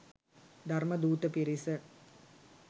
ධර්ම ධූත පිරිස